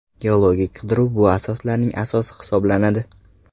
Geologik qidiruv bu asoslarning asosi hisoblanadi.